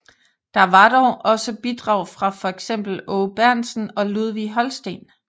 Der var dog også bidrag fra for eksempel Aage Berntsen og Ludvig Holstein